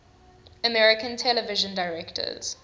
american television directors